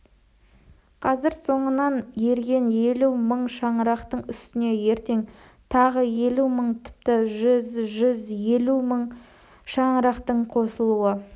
қазір соңынан ерген елу мың шаңырақтың үстіне ертең тағы елу мың тіпті жүз жүз елу мың шаңырақтың қосылуы